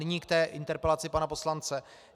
Nyní k té interpelaci pana poslance.